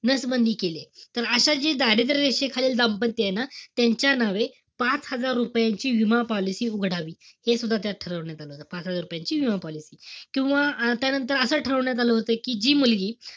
नसबंदी केलीय. तर अशा जे दारिद्र्य रेषेखालील दाम्पत्य आहे ना, त्यांच्या नावे पाच हजार रुपयाची विमा policy उघडावी. हे सुद्धा त्यात ठरवलं गेलं होतं. पाच हजार रुपयांची policy किंवा त्यानंतर ठरवण्यात आलं होतं कि जी मुलगी,